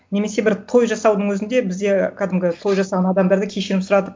немесе бір той жасаудың өзінде бізде кәдімгі той жасаған адамдарды кешірім сұратып